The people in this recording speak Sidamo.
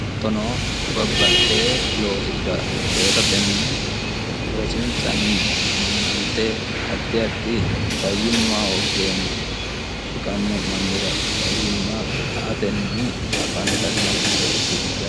hatono babbaxxe loosiira loosatenni loosinsanni ammanante addi addi fayyimma hooggeenna shiqanno'mannira fayyimma aatenni afantanno reeti yaate.